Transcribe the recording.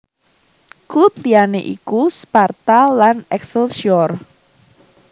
Klub liyané iku Sparta lan Excelsior